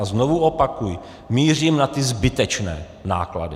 A znovu opakuji, mířím na ty zbytečné náklady.